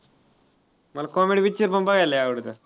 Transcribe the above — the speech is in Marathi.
मला comedy picture पण बघायला लय आवडतात.